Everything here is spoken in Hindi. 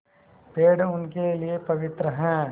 पेड़ उनके लिए पवित्र हैं